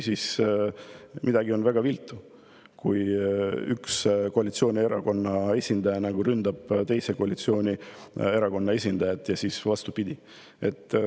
Midagi on väga viltu, kui üks koalitsioonierakonna esindaja ründab teise koalitsioonierakonna esindajat ja vastupidi.